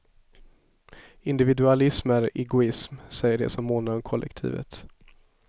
Individualism är egoism, säger de som månar om kollektivet.